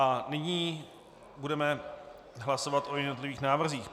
A nyní budeme hlasovat o jednotlivých návrzích.